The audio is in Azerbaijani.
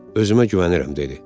Özümə güvənirəm, dedi.